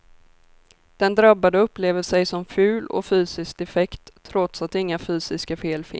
Den drabbade upplever sig som ful och fysiskt defekt trots att inga fysiska fel finns.